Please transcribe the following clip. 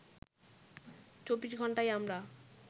২৪ ঘন্টাই আমরা